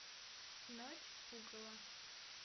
ночь пугала